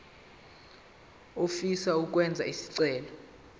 ofisa ukwenza isicelo